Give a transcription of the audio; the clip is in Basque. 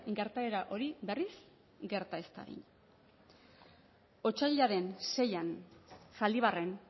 gertaera hori berriz gerta ez dadin otsailaren seian zaldibarren